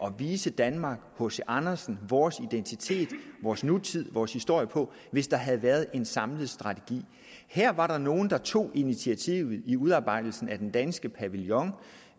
og vise danmark hc andersen vores identitet vores nutid vores historie på hvis der havde været en samlet national strategi her var der nogle der tog initiativet i udarbejdelsen af den danske pavillon